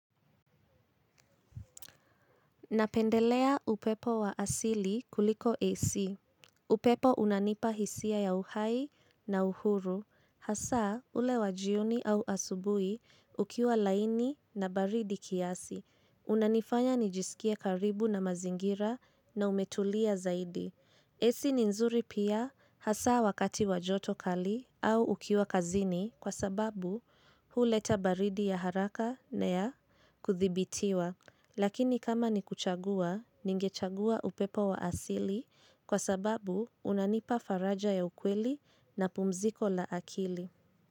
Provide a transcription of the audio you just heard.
Napendelea upepo wa asili kuliko AC. Upepo unanipa hisia ya uhai na uhuru. Hasaa ule wajioni au asubuhi ukiwa laini na baridi kiasi. Unanifanya nijisikie karibu na mazingira na umetulia zaidi. AC ni nzuri pia hasa wakati wajoto kali au ukiwa kazini kwa sababu huleta baridi ya haraka na ya kuthibitiwa. Lakini kama ni kuchagua, ningechagua upepo wa asili kwa sababu unanipa faraja ya ukweli na pumziko la akili.